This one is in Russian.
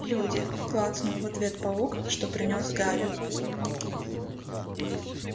люди клацнул в ответ паук что принёс гарри